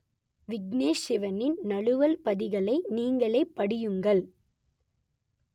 விக்னேஷ் சிவனின் நழுவல் பதில்களை நீங்களே படியுங்கள்